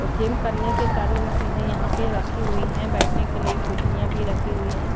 और जिम करने के सारी मशीनें यहां पे रखी हुई हैं बैठने के लिए कुर्सियां भी रखी हुई है।